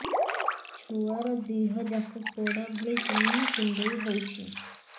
ଛୁଆର ଦିହ ଯାକ ପୋଡା ଭଳି ଚି଼ହ୍ନ କୁଣ୍ଡେଇ ହଉଛି